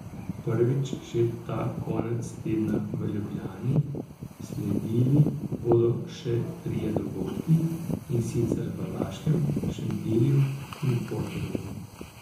Prvič že ta konec tedna v Ljubljani, sledili bodo še trije dogodki, in sicer v Laškem, Šentilju in Portorožu.